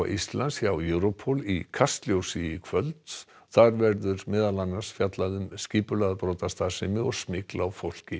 Íslands hjá Europol í Kastljósi í kvöld þar verður meðal annars fjallað um skipulagða brotastarfsemi og smygl á fólki